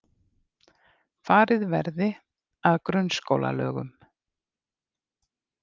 Farið verði að grunnskólalögum